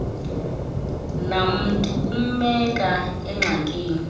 namntu kumbeka engxakini